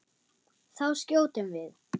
Þá skjótum við.